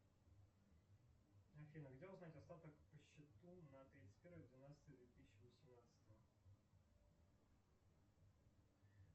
афина где узнать остаток по счету на тридцать первое двенадцатое две тысячи восемнадцатого